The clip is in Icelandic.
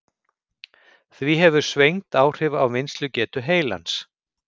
Því hefur svengd áhrif á vinnslugetu heilans.